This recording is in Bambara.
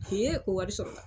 ko wari sɔrɔ la.